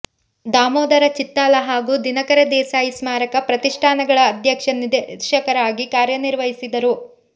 ದಾಮೋದರ ಚಿತ್ತಾಲ ಹಾಗೂ ದಿನಕರ ದೇಸಾಯಿ ಸ್ಮಾರಕ ಪ್ರತಿಷ್ಠಾನಗಳ ಅಧ್ಯಕ್ಷ ನಿರ್ದೇಶಕರಾಗಿ ಕಾರ್ಯನಿರ್ವಹಿಸಿದರು